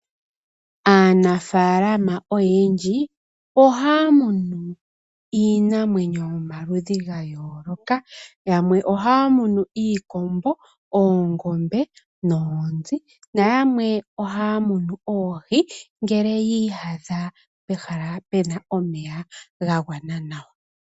Aanafaalama oyendji ohaya munu iinamwenyo yomaludhi ga yooloka . Yamwe ohaya munu iikombo, oongombe noonzi. Nayamwe ohaya munu oohi ngele oyi iyadha pehala puna omeya ga gwana nawa.